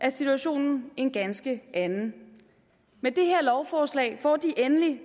er situationen en ganske anden med det her lovforslag får de endelig